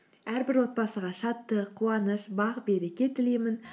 әрбір отбасыға шаттық қуаныш бақ береке тілеймін